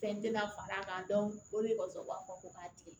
Fɛn tɛ na fara a kan o de kɔsɔn u b'a fɔ ko k'a tigɛ